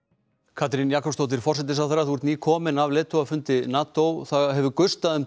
Katrín Jakobsdóttir forsætisráðherra þú ert nýkomin heim af leiðtogafundi NATO það hefur gustað um